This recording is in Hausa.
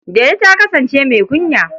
Delu ta kasance mai kunya.